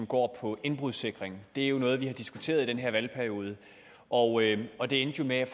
går på indbrudssikring det er noget vi har diskuteret i denne valgperiode og og det endte jo med at